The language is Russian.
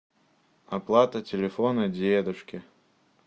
оплата телефона дедушки